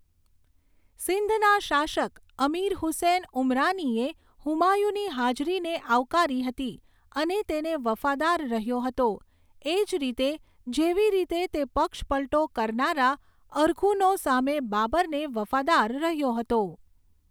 સિંધના શાસક અમિર હુસૈન ઉમરાનીએ હુમાયુની હાજરીને આવકારી હતી અને તેને વફાદાર રહ્યો હતો, એ જ રીતે જેવી રીતે તે પક્ષપલટો કરનારા અરઘુનો સામે બાબરને વફાદાર રહ્યો હતો.